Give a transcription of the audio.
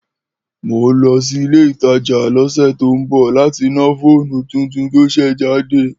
Mò lọ sì ìlé ìtà jà lọsẹ tò bọ lati nà fònù titun tò sẹ̀ jàdé